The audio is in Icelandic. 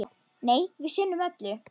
Nei, við sinnum öllu.